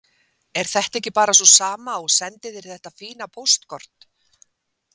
Er þetta ekki bara sú sama og sendi þér þetta fína póstkort?